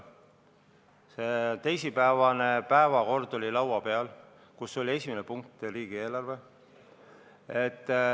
Teisipäevane päevakord oli laua peal, esimene punkt oli seal riigieelarve.